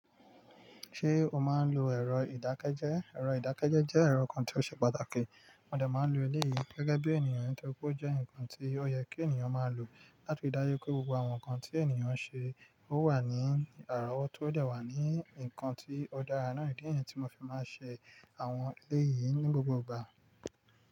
Ṣé o máa ń lo ẹ̀rọ ìdákẹ́jẹ́? Ẹ̀rọ ìdákẹ́jẹ́ jẹ́ ẹ̀rọ kan tí ó ṣe pàtàkì. Mo dẹ̀ máa ń lo ilé yìí gẹ́gẹ́ bí ènìyàn nítorí pé ó jẹ́ ǹkan tí ó yẹ kí ènìyàn máa lò láti ri dáju pé gbogbo àwọn ǹkan tí ènìyàn ń ṣe ó wà ní àrọwọ̀ tó o dẹ̀ wà ní ǹkan tí ó dára náà. Idi nìyẹn tí mo fi máa ń ṣe àwọn ilé yìí ní gbogbo ìgbà.